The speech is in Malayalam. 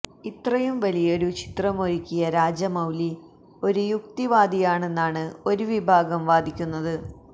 ഇത്രയും വലിയൊരു ചിത്രമൊരുക്കിയ രാജമൌലി ഒരു യുക്തിവാദിയാണെന്നാണ് ഒരു വിഭാഗം വാദിക്കുന്നത്